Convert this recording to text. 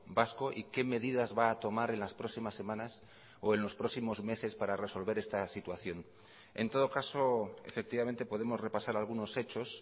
vasco y qué medidas va a tomar en las próximas semanas o en los próximos meses para resolver esta situación en todo caso efectivamente podemos repasar algunos hechos